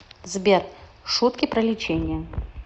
сбер шутки про лечение